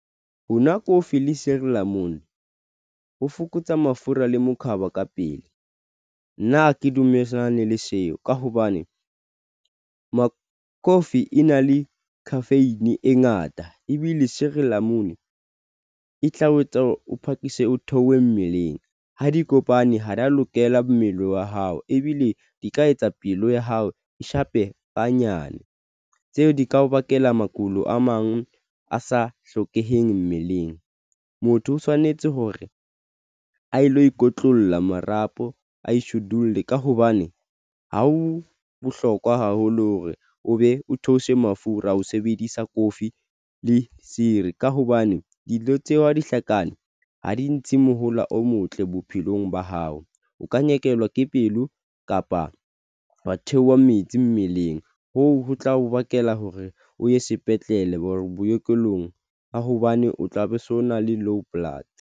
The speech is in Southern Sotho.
Honwa kofi le sirilamun ho fokotsa mafura le mokhaba ka pele. Nna ha ke dumellane le seo ka hobane ma coffee e na le khafeine e ngata ebile sirilamunu e tla o etsa o phakise o theohe mmeleng. Ha di kopane, ha di a lokela mmele wa hao ebile di ka etsa pelo ya hao e shape ha nyane tseo di ka o bakela makulo a mang a sa hlokeheng mmeleng. Motho o tshwanetse hore a lo ikotlolla marapo a ishodile ka hobane ha o bohlokwa haholo hore o be o theose mafura a ho sebedisa kofi le seery. Ka hobane dilo tseo ha di hlakane, ha di ntshi mohala o motle bophelong ba hao o ka nyekelwa ke pelo kapa wa theoha metsi mmeleng. Hoo ho tla o bakela hore o ye sepetlele boekelong ba hobane o tlabe so na le low blood.